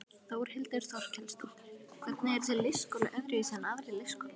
Þórhildur Þorkelsdóttir: Hvernig er þessi leikskóli öðruvísi en aðrir leikskólar?